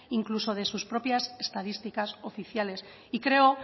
incluso de sus propias estadísticas oficiales